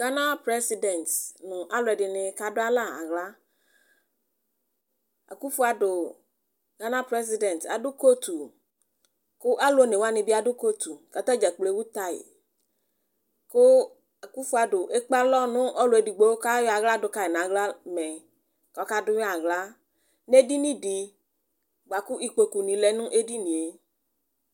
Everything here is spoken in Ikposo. Gana prezidɛt nʋ alʋ ɛdɩnɩ kadʋalɛ aɣlaAkunfo Adʋ, Gana prezidɛt adʋ kotu Kʋ alʋ one wanɩ bɩ adʋ kotu ,kata dza kplo ewu tayKʋ Akunfo Adʋ ekpe alɔ nɔlʋ edigbo kʊ ayɔ aɣla dʋ kayɩ naɣlamɛ kʋ ɔka dʋ yɩ aɣla nedini di bʋa kʋ ikpoku nɩ lɛ nʋ edinie